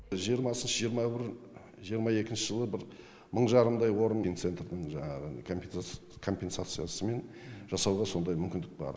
жиырмасыншы жиырма бір жиырма екінші жылы бір мың жарымдай орын финцентрдің жаңағы компенсациясымен жасауға сондай мүмкіндік бар